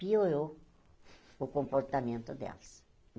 Piorou o comportamento delas.